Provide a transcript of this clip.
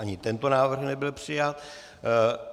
Ani tento návrh nebyl přijat.